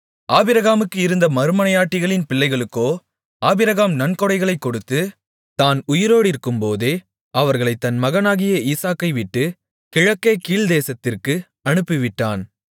ஆபிரகாமுக்கு இருந்த மறுமனையாட்டிகளின் பிள்ளைகளுக்கோ ஆபிரகாம் நன்கொடைகளைக் கொடுத்து தான் உயிரோடிருக்கும்போதே அவர்களைத் தன் மகனாகிய ஈசாக்கைவிட்டுக் கிழக்கே போகக் கீழ்த்தேசத்திற்கு அனுப்பிவிட்டான்